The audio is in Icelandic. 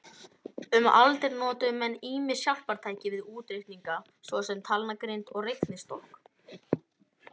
Um aldir notuðu menn ýmis hjálpartæki við útreikninga, svo sem talnagrind og reiknistokk.